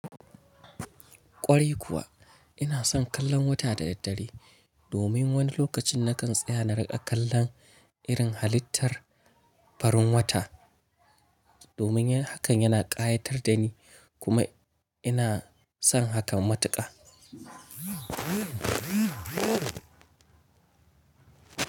Ƙwarai kuwa ina son kallon wata da daddare domin wani lokacin na kan tsaya na riƙa kallon irin halittar farin wata domin hakan yana ƙayatar da ni kuma ina son hakan matuƙa.